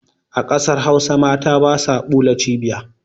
A ƙasar hausa mata basa ɓula cibiya